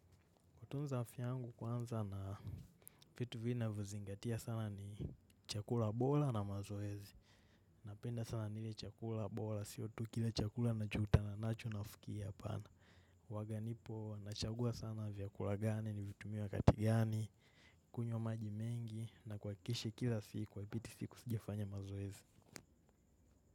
Kutunza afya yangu kwanza na vitu vinavyozingatia sana ni chakula bora na mazoezi. Napenda sana nile chakula bora sio tu kila chakula nachokutana nacho nafukia apana. Waganipo, nachagua sana vyakula gani nivitumie wakati gani, kunywa maji mengi na kwakishe kila siku haipiti siku sijafanya mazoezi.